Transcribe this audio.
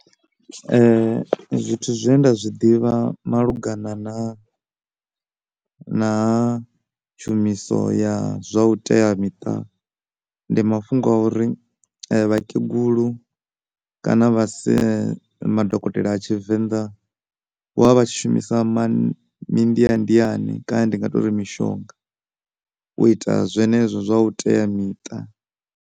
Zwithu zwine nda zwi ḓivha malugana na, na tshumiso ya zwa u teamiṱa ndi mafhungo a uri vhakegulu kana madokotela a tshivenḓa vho vha tshi shumisa mandiandiani kana ndi nga tori mishonga u ita zwenezwo zwa u teamiṱa.